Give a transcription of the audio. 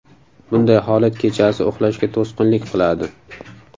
Bunday holat kechasi uxlashga to‘sqinlik qiladi.